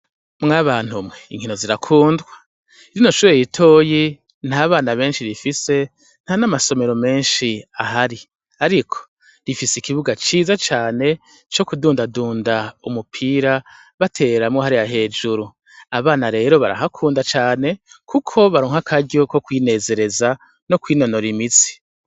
Mwabantu mwe, inkino zirakundwa! Rino shure ritoyi nta bana benshi rifise, nta n'amasomero ahari. Ariko rifise ikibuga ciza cane co kudundadunda umupira, batereramwo hariya hejuru. Abana rero barahakunda cane, kuko baronka akaryo ko kwinezereza no kwinonora imitsi.